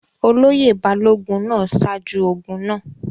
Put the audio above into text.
olóyè balógun náà ṣáájú ogun náà